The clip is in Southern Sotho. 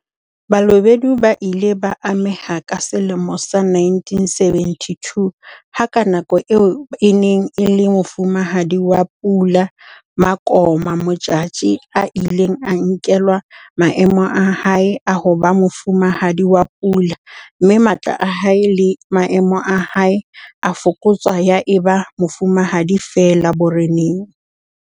Balobedu ba ile ba ameha ka selemo sa 1972 ha ka nako eo e neng e le Mofumahadi wa Pula Makoma Modjadji a ileng a nkelwa maemo a hae a ho ba Mofumahadi wa Pula mme matla a hae le maemo a hae a fokotswa ya eba mofumahadi feela boreneng.